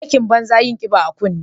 Aikin banza yin kiba a kunne.